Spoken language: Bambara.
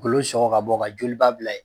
Kolo sɔgɔ ka bɔ ka joliba bila yen